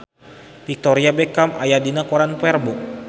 Victoria Beckham aya dina koran poe Rebo